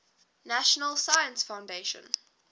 national science foundation